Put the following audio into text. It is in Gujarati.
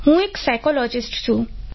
હું એક સાયકોલોજીસ્ટ છું